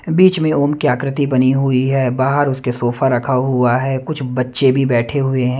बीच में ओम की आकृति बनी हुई है बाहर उसके सोफा रखा हुआ है कुछ बच्चे भी बैठे हुए हैं।